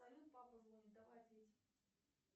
салют папа звонит давай ответим